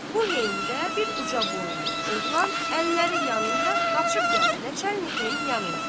Bu heydə bir ucaboylu oğlan əlləri yanında qaçıb gəldi Nəçənlkin yanına.